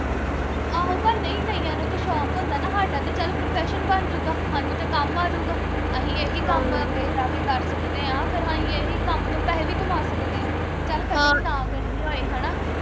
ਆਹੋ ਪਰ ਨਹੀੰ ਕਈਆਂ ਨੂੰ ਤੇ ਸ਼ੌਕ ਹੁੰਦਾ ਵਾ ਹਾਡਾ ਤੇ ਚੱਲ profession ਬਣ ਜੂ ਗਾ ਹਾਨੂੰ ਤੇ ਕੰਮ ਆਜੂਗਾ। ਅਹੀ ਇਹੀ ਕੰਮ ਅੱਗੇ ਜਾ ਕੇ ਕਰ ਸਕਦੇ ਆ ਫਿਰ ਅਸੀਂ ਇਹੀ ਕੰਮ ਤੋਂ ਪੈਹੇ ਵੀ ਕਮਾ ਸਕਦੇ। ਚੱਲ cutting ਨਾ ਕਰਨੀ ਹੋਵੇ ਹਣਾ